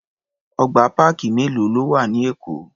Ọgbà páàkì mélòó ló wà ní Èkó?